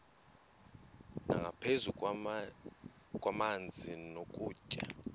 nangaphezu kwamanzi nokutya